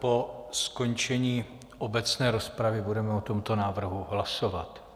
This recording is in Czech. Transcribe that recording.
Po skončení obecné rozpravy budeme o tomto návrhu hlasovat.